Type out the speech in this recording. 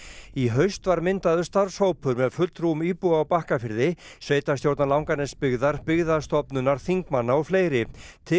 í haust var myndaður starfshópur með fulltrúum íbúa á Bakkafirði sveitarstjórnar Langanesbyggðar Byggðastofnunar þingmanna og fleiri til